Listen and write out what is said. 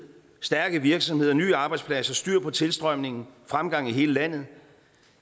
stærke virksomheder nye arbejdspladser styr på tilstrømningen fremgang i hele landet